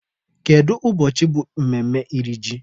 Kedu ụbọchị bụ mmemme iri ji?